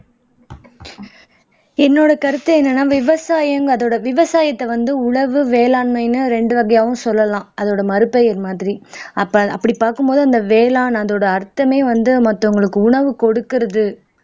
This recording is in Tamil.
என்னோட கருத்து என்னன்னா விவசாயம் அதோட விவசாயத்தை வந்து உழவு வேளாண்மைன்னு ரெண்டு வகையாவும் சொல்லலாம் அதோட மறுபெயர் மாதிரி அப்ப அப்படி பார்க்கும் போது அந்த வேளான் அதோட அர்த்தமே வந்து மத்தவங்களுக்கு உணவு கொடுக்கிறது